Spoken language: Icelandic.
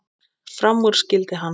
Fram úr skyldi hann.